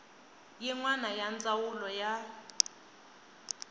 yin wana ya ndzawulo ya